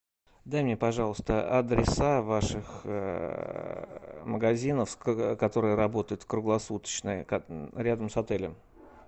дай мне пожалуйста адреса ваших магазинов которые работают круглосуточно рядом с отелем